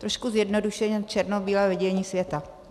Trošku zjednodušeně, černobílé vidění světa.